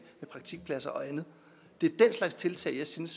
praktikpladser og andet det er den slags tiltag jeg synes